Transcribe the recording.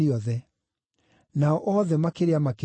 Nao othe makĩrĩa makĩhũũna,